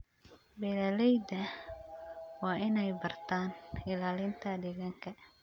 Beeralayda waa inay bartaan ilaalinta deegaanka.